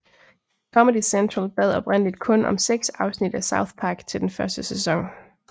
Comedy Central bad oprindeligt kun om seks afsnit af South Park til den første sæson